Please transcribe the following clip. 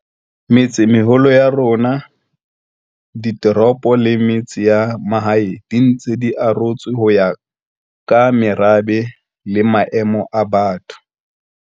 Metsemeholo ya rona, ditoropo le metse ya mahae di ntse di arotswe ho ya ka merabe le maemo a batho.